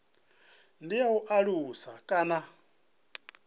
ndi ya u alusa kana